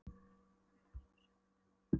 menn, herta af sjónum, í herðar niður.